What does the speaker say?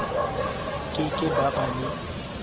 ke ke ba ba le